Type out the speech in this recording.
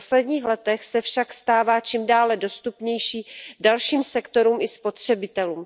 V posledních letech se však stává čím dále dostupnější dalším sektorům i spotřebitelům.